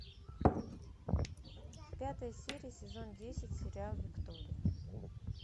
пятая серия сезон десять сериал виктория